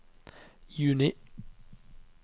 juni